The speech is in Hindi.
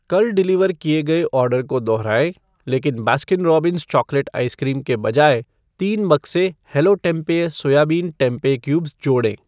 कल डिलीवर किए गए ऑर्डर को दोहराएँ लेकिन बास्किन रोब्बिंस चॉकलेट आइसक्रीम के बजाय तीन बक्से hello tempeh soybean tempeh cubes जोड़ें।